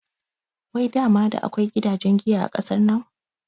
Wai dama da akai gidajen giya a ƙasar nan?